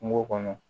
Kungo kɔnɔ